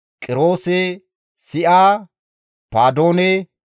Bessaye, Ma7uune, Nafashisime,